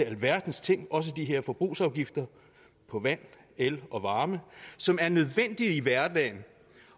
alverdens ting også de her forbrugsafgifter på vand el og varme som er nødvendigt at have i hverdagen